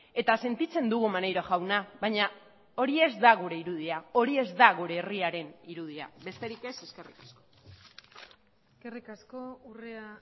eta sentitzen dugu maneiro jauna baina hori ez da gure irudia hori ez da gure herriaren irudia besterik ez eskerrik asko eskerrik asko urrea